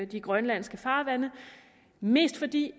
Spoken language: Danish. de grønlandske farvande mest fordi